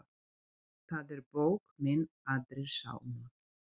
Það er bók mín Aðrir sálmar.